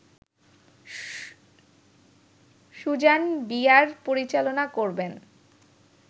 Suzanne Bier পরিচালনা করবেন